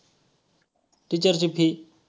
teacher ची fee.